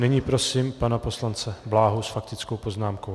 Nyní prosím pana poslance Bláhu s faktickou poznámkou.